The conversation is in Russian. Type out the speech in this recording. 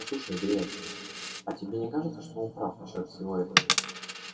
послушай грег а тебе не кажется что он прав насчёт всего этого